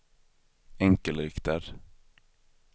enkelriktad